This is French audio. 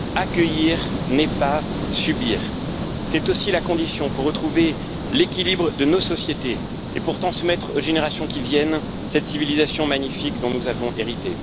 Accueillir, ce n'est pas subir, c'est aussi la condition pour retrouver l'équilibre de nos sociétés et pour transmettre aux générations qui viennent cette civilisation magnifique dont nous avons hérité.